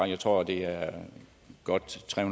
jeg tror at det er godt tre